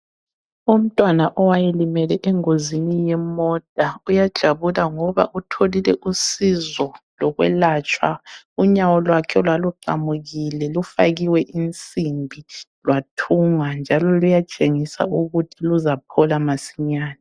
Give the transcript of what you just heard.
Umntwana owayelimele engozini yemota uyajabula ngoba utholile usizo lokwelatshwa ,unyawo lwakhe olwaluqamukile lufakiwe insimbi lwathungwa ,njalo luyatshengisa ukuthi luzaphola masinyane